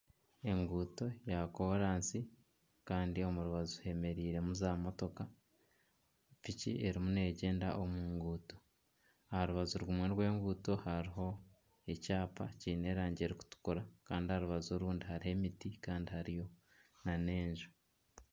Enguuto ya koraasi kandi omu rubaju hemereire mu za motoka. Piki erimu negyenda omu ruguuto. Aharubaju rumwe rw'enguuto hariho ekyapa kiine erangi erikutukura. Orubaju orundi hariyo emiti kandi hariyo nana enju.